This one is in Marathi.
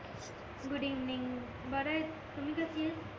गुड इव्हनिंग बराय तुम्ही कशीं आहेस